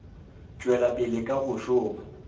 tšwela pele ka go šoma